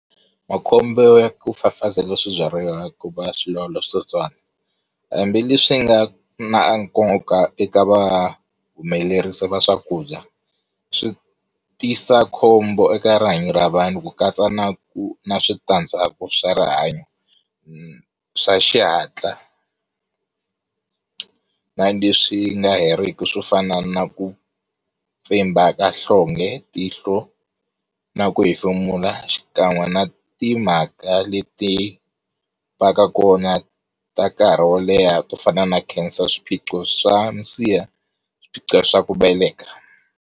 Makhombo ya ku fafazela swibyariwa ku va swi lawula switsotswani. Hambileswi swi nga na nkoka eka va humelerisi va swakudya swi tisa khombo eka rihanyo ra vanhu, ku katsa na ku na switandzhaku swa rihanyo, swa xihatla na leswi nga heriki swo fana na ku mpfimba ka nhlonge, tihlo na ku hefemula xikan'we na timhaka leti va ka kona ta nkarhi wo leha to fana na cancer, swiphiqo swa minsiha, swiphiqo swa ku veleka.